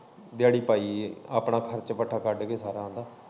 ਦਿਆੜੀ ਪਾਈ ਏ ਆਪਣਾ ਖਰਚ ਵੱਟਾ ਕੱਢ ਕੇ ਸਾਰਾ।